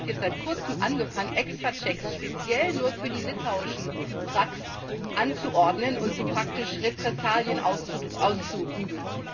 Und Russland hat jetzt seit Kurzem angefangen, Extrachecks speziell nur für die litauischen Trucks anzuordnen und so praktisch Repressalien auszuüben.